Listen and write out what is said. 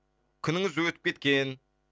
күніңіз өтіп кеткен